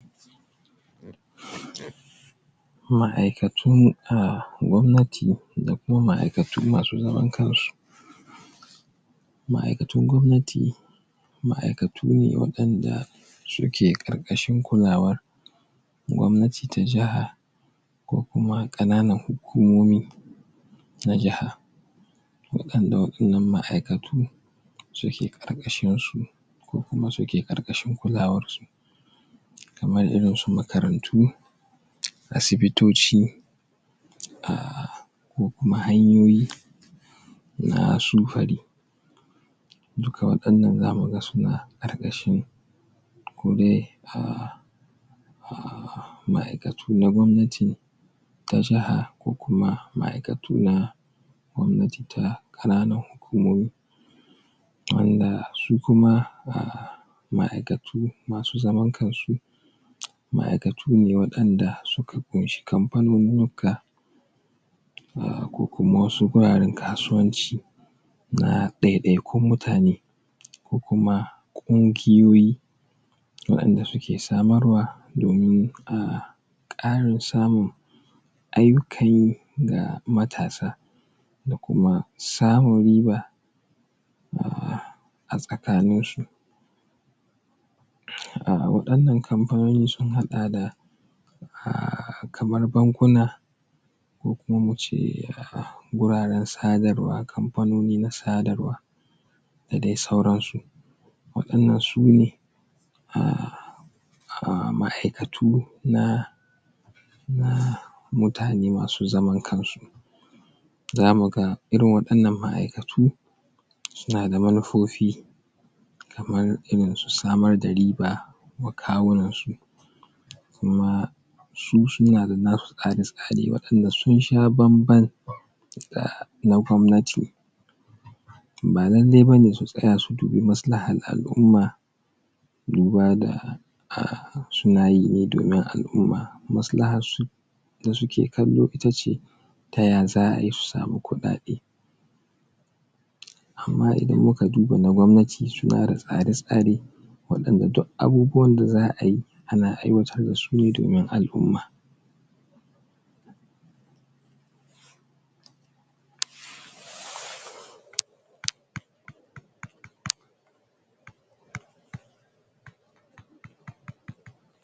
ma’aikatu a gwamnati da ma’aikatu masu zaman kansu ma’aikatun gwamnati ma’aikatu ne wa’inda suke ƙarƙashin kulawar gwamnati ta jiha ko kuma ƙananan hukumomi na jaha waɗanda wa’innan ma’aikatu suke ƙarƙashin su ko kuma suke ƙarƙashin kulawar su kamar irin su makarantu asibitoci ko kuma hanyoyi na sufuri duka waɗannan za muga suna ƙarƙashin ma’aikatu na gwamnati ta jaha ko kuma ma’aikatu na gwamnatin jaha ta ƙananan hukumomi wanda su kuma ma’aikatu masu zaman kansu ma’aikatu ne waɗanda suka ƙunshi kamfanonnika ko kuma wasu wuraren kasuwanci na ɗai-ɗaikun mutane ko kuma ƙungiyoyi waɗanda suke samar wa domin a ƙara samun aiki ga matasa da kuma samun riba a gtsakanin su ire-iren waɗanan kamfanoni sun haɗa da kamar bankuna ko kuma wurare na sadarwa ko kuma mu ce kamfanoni na sadarwa da dai sauransu wa’inan sune ma'aikatu na mutane masu zaman kansu za mu ga irin waɗannan ma'aikatu suna da manufofi kamar irin samar da riba tsakanin su kuma su suna da nasu tsare tsaren wanda sun sha bamban da na gwamnati ba lallai bane su tsaya su dubi masalahar al'umma duba da suna yi ne domin al'umma maslahar su da suke kallo ita ce ta ya za su samu kuɗaɗe amma idan mu duba da na gwamnati suna da tsare tsare wajen duk abubuwan da za ayi ana aiwatar da su domin al'umma